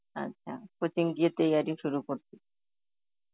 আচ্ছা, coaching গিয়ে Hindi শুরু করছে.